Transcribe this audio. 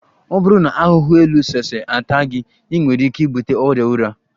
Ọ bụrụ na ahụhụ elu sese ata gị, ị nwere ike ibute ọrịa ụra